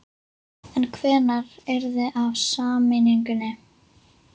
En hvenær yrði af sameiningunni?